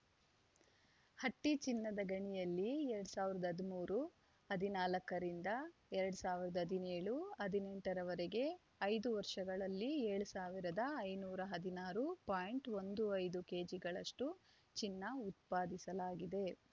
ಹಟ್ಟಿಚಿನ್ನದ ಗಣಿಯಲ್ಲಿ ಎರಡ್ ಸಾವಿರದ ಹದಿಮೂರು ಹದಿನಾಲ್ಕರಿಂದ ಎರಡ್ ಸಾವಿರದ ಹದಿನೇಳು ಹದಿನೆಂಟರವರೆಗೆ ಐದು ವರ್ಷಗಳಲ್ಲಿ ಏಳು ಸಾವಿರದ ಐನೂರ ಹದಿನಾರು ಪಾಯಿಂಟ್ ಒಂದು ಐದು ಕೆಜಿಗಳಷ್ಟುಚಿನ್ನ ಉತ್ಪಾದಿಸಲಾಗಿದೆ